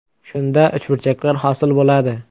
Shunda uchburchaklar hosil bo‘ladi.